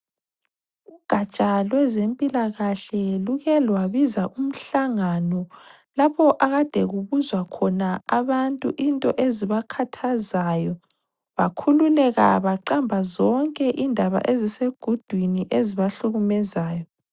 Ugaja lwezempilakahle luke lwabiza umhlangano lapho akade kubuzwa khona abantu into ezibakhathazayo, bakhululeka baqamba zonke indaba ezisegudwini ezibahlukumezayo.